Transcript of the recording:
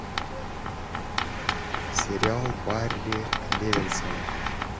сериал барри левинсона